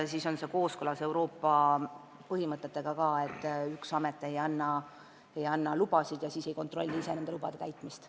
See on kooskõlas ka Euroopa põhimõtetega, et üks ja sama amet ei anna lubasid ega kontrolli ise nende täitmist.